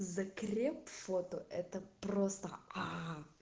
закреп фото это просто аа